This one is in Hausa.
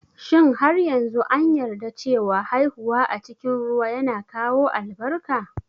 Shin har yanzu an yarda cewa haihuwa a cikin ruwa yana kawo albarka?